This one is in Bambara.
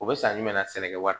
O be san jumɛn na sɛnɛkɛ wari